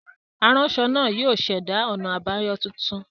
Aranṣọ naa yóò ṣẹda ọna abayọ tuntun.